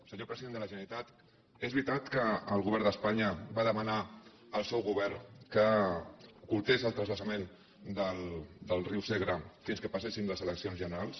senyor president de la generalitat és veritat que el govern d’espanya va demanar al seu govern que ocultés el transvasament del riu segre fins que passessin les eleccions generals